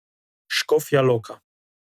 Škofja Loka.